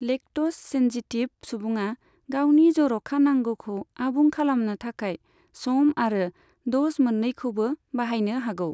Lactose sensitive सुबुङा गावनि जर'खा नांगौखौ आबुं खालामनो थाखाय सम आरो द'ज मोननैखौबो बाहायनो हागौ।